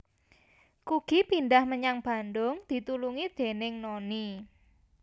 Kugy Pindhah menyang Bandung ditulungi déning Noni